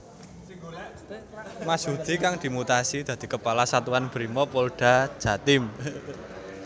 Mashudi kang dimutasi dadi Kepala Satuan Brimob Polda Jatim